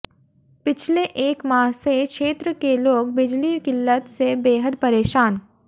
पिछले एक माह से क्षेत्र के लोग बिजली किल्लत से बेहद परेशान